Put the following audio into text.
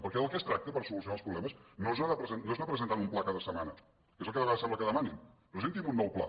perquè del que es tracta per solucionar els problemes no és anar presentant un pla cada setmana que és el que a vegades sembla que demanin presenti’m un nou pla